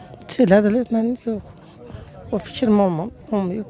Elə bilərəm yox, o fikrim olmayıb.